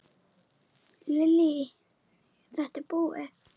Lillý:. þetta búið?